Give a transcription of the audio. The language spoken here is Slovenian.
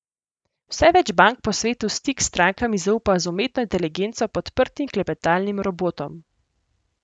Vse več bank po svetu stik s strankami zaupa z umetno inteligenco podprtim klepetalnim robotom.